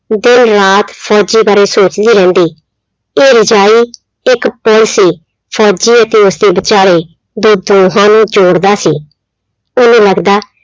ਦਿਨ ਰਾਤ ਫ਼ੋਜ਼ੀ ਬਾਰੇ ਸੋਚਦੀ ਰਹਿੰਦੀ, ਇਹ ਰਜਾਈ ਇੱਕ ਪੁੱਲ ਸੀ ਫ਼ੋਜ਼ੀ ਅਤੇ ਉਸਦੇ ਵਿਚਾਲੇ ਜੋ ਦੋਹਾਂ ਨੂੰ ਜੋੜਦਾ ਸੀ, ਉਹਨੂੰ ਲੱਗਦਾ,